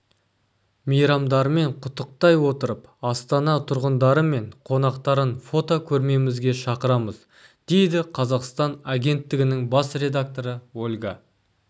мейрамдармен құттықтай отырып астана тұрғындары мен қонақтарын фотокөрмемізге шақырамыз дейді қазақстан агенттігінің бас редакторы ольга